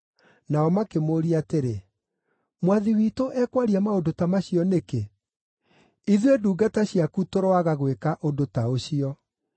Nao makĩmũũria atĩrĩ, “Mwathi witũ ekwaria maũndũ ta macio nĩkĩ? Ithuĩ ndungata ciaku tũroaga gwĩka ũndũ ta ũcio!